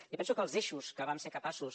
jo penso que els eixos que vam ser capaços